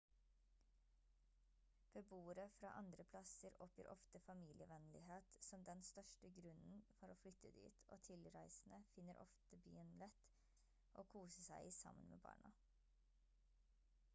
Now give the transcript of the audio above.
beboere fra andre plasser oppgir ofte familievennlighet som den største grunnen for å flytte dit og tilreisende finner ofte byen lett å kose seg i sammen med barna